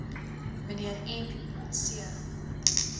mnr m c